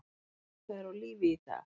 Eru þær á lífi í dag?